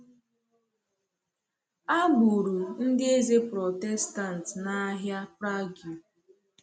A gburu ndị eze Protestant n’ahịa Prague.